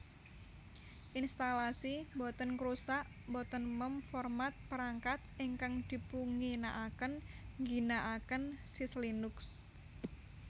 Instalasi mbotèn ngrusak mbotèn mem format perangkat ingkang dipunginaakén ngginaaken Syslinux